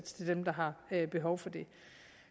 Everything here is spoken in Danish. til dem der har behov for det